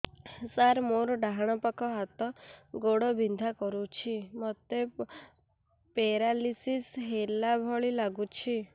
ସାର ମୋର ଡାହାଣ ପାଖ ହାତ ଗୋଡ଼ ବିନ୍ଧା କରୁଛି ମୋତେ ପେରାଲିଶିଶ ହେଲା ଭଳି ଲାଗୁଛି